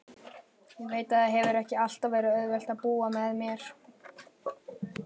Ég veit að það hefur ekki alltaf verið auðvelt að búa með mér.